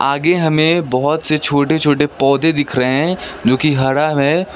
आगे हमें बहोत से छोटे छोटे पौधे दिख रहे हैं जो कि हरा है।